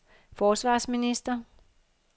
forsvarsminister